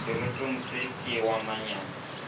seretong se ke wa manyami